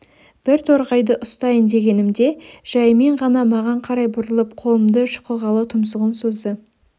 бір торғайды ұстайын дегенімде жайымен ғана маған қарай бұрылып қолымды шұқығалы тұмсығын созды